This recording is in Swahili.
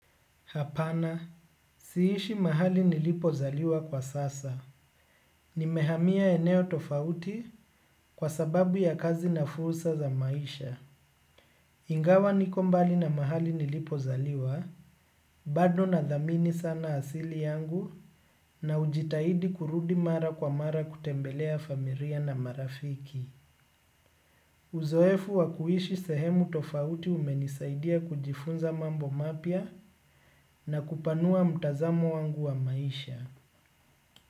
Hapana si ishi mahali nilipozaliwa kwa sasa. Nimehamia eneo tofauti kwa sababu ya kazi na fursa za maisha. Ingawa niko mbali na mahali nilipozaliwa bado na dhamini sana asili yangu na hujitahidi kurudi mara kwa mara kutembelea familia na marafiki. Uzoefu wa kuishi sehemu tofauti umenisaidia kujifunza mambo mapya na kupanua mtazamo wangu wa maisha.